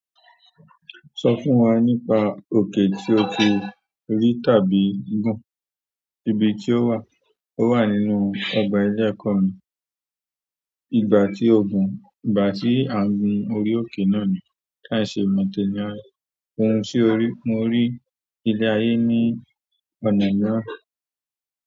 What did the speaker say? Sọ fún wa nípa òkè tí o ti rí tàbí gùn, ibi tí ó wà, ó wà nínú ọgbà ẹlẹ́kọ̀ọ́ ni, ìgbà tí o gùn, ìgbà tí à ń gun orí òkè náà ni kí a ṣe mọ̀tẹ́lẹ̀ ayé, òun sì ó rí, mo rí ilẹ̀ ayé ní ọ̀nà náà.